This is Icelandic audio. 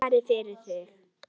Svara fyrir sig.